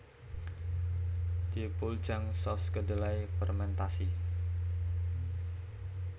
Deopuljang saus kedelai fermentasi